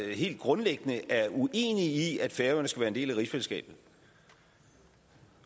helt grundlæggende er uenig i at færøerne skal være en del af rigsfællesskabet